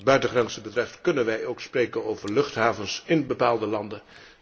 Wat de buitengrenzen betreft kunnen wij ook spreken over luchthavens ín bepaalde landen.